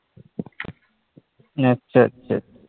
আচ্ছা আচ্ছা।